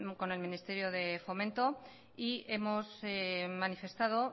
con el ministerio de fomento y hemos manifestado